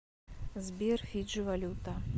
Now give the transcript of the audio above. сбер фиджи валюта